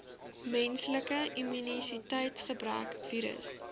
menslike immuniteitsgebrek virus